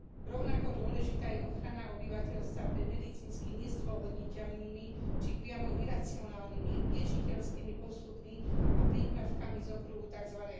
Rovnako dôležitá je ochrana obyvateľstva pred medicínsky nezdôvodniteľnými či priamo iracionálnymi liečiteľskými postupmi a prípravkami z okruhu tzv.